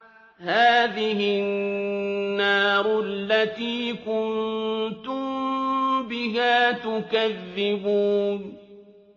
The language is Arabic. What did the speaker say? هَٰذِهِ النَّارُ الَّتِي كُنتُم بِهَا تُكَذِّبُونَ